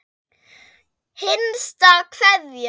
HINSTA KVEÐJA.